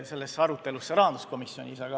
– sellesse arutelusse rahanduskomisjonis.